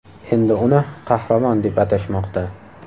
Endi uni qahramon deb atashmoqda.